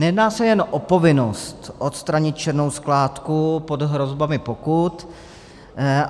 Nejedná se jen o povinnost odstranit černou skládku pod hrozbami pokut.